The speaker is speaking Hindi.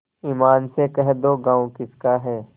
ईमान से कह दो गॉँव किसका है